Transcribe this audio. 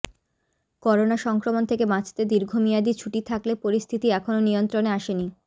corona সংক্রমণ থেকে বাঁচতে দীর্ঘমেয়াদী ছুটি থাকলে পরিস্থিতি এখনও নিয়ন্ত্রণে আসেনি